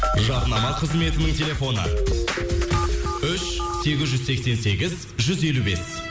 жарнама қызметінің телефоны үш сегіз жүз сексен сегіз жүз елу бес